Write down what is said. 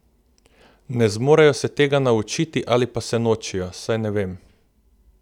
Ne zmorejo se tega naučiti ali pa se nočejo, saj ne vem.